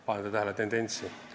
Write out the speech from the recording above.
Kas panete tähele tendentsi?